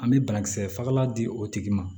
An bɛ banakisɛ fagalan di o tigi ma